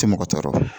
Tɛ mɔgɔ tɔɔrɔ